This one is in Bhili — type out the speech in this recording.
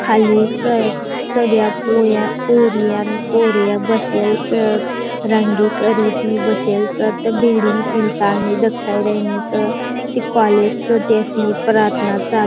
खाली स सगळया पुऱ्या पुर्या न पोरया बसेल सत रंगी करी त नी बसेल स बीडीनी तीन ता स देखाई रई स ती कॉलेज नी दिसन प्रार्थना चाल --